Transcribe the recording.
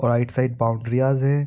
और right side boundaries है।